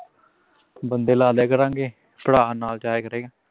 ਬੰਦੇ ਲਾਹ ਦਿਆਂ ਕਰਾਂਗੇ ਭਰਾ ਨਾਲ ਜਾਇਆ ਕਰੇਗਾ